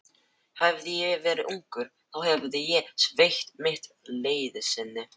Hefði ég verið ungur, þá hefði ég veitt mitt liðsinni.